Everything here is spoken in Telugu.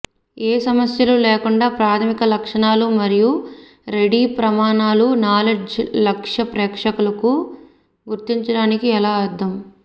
ఏ సమస్యలు లేకుండా ప్రాథమిక లక్షణాలు మరియు రెడీ ప్రమాణాల నాలెడ్జ్ లక్ష్య ప్రేక్షకులకు గుర్తించడానికి ఎలా అర్థం